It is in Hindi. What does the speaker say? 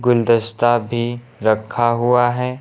गुलदस्ता भी रखा हुआ है।